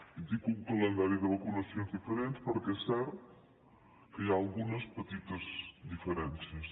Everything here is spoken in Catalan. i dic un calendari de vacunacions diferents perquè és cert que hi ha algunes petites diferències